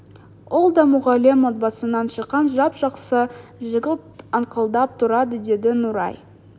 ол да мұғалім отбасынан шыққан жап жақсы жігіт аңқылдап тұрады деді нұрай